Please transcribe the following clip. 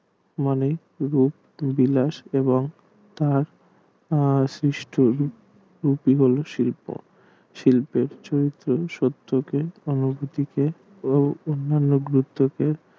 মনের রূপ বিলাস এবং তার আহ শিষ্ট একে বলে শিল্প শিল্পের চরিত্র শত্রুকে অনুভূতিকে